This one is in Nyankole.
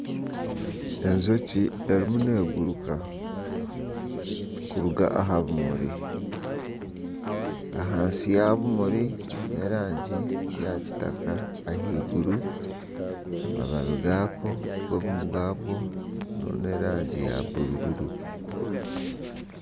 Enjoki erimu neguruka kuruga aha bimuri. Ahansi y'obumuri n'erangi ya kitaka. Ahaiguru y'amababi gaako ni ag'erangi ya bururu.